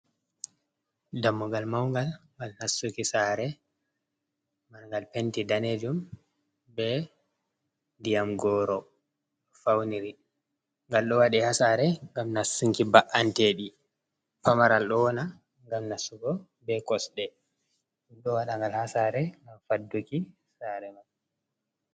Dammugal manngal ngal nassuki sare ngal penti danejum be ndiyamgoro fauniri, ngal ɗo waɗe ha sare ngam nassunki ba’anteɗi pamaral ɗo wona ngam nassugo be kosɗe, ɗo waɗa ngal ha sare ngam fadduki sare.